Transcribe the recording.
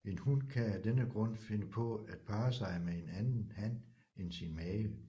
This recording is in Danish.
En hun kan af denne grund finde på at parre sig med en anden han end sin mage